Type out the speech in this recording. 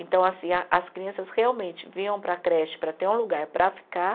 Então, assim a as crianças realmente vinham para a creche para ter um lugar para ficar.